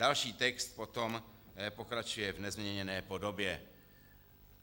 Další text potom pokračuje v nezměněné podobě.